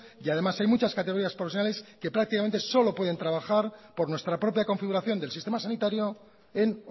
y además hay muchas categorías profesionales que prácticamente solo pueden trabajar por nuestra propia configuración del sistema sanitario en